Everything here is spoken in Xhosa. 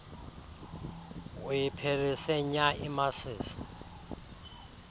uyiphelise nya imasisi